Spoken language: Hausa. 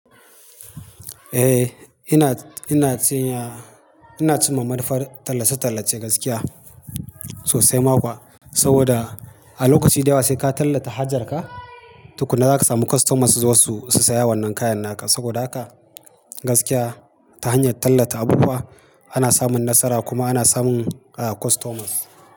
Eh, ina, ina tuna-- ina tuno manufar tallace-tallace gaskiya sosai ma kuwa. Saboda a lokaci da yawa sai ka tallata hajarka, tukuna za ka samu customers suzo su saya wannan kayan naka. Saboda haka gaskiya ta hanyar tallata abubuwa ana samun nasara kuma ana samun customers.